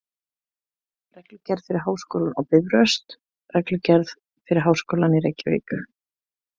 Reglugerð fyrir Háskólann á Bifröst Reglugerð fyrir Háskólann í Reykjavík.